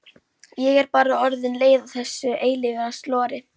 Ég var bara orðin leið á þessu eilífa slori.